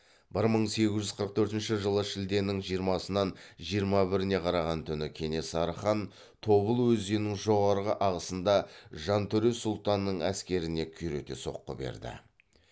бір мың сегіз жүз қырық төртінші жылы шілденің жиырмасынан жиырма біріне караған түні кенесары хан тобыл өзенінің жоғарғы ағысында жантөре сұлтанның әскеріне күйрете соққы берді